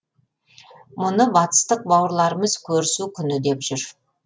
мұны батыстық бауырларымыз көрісу күні деп жүр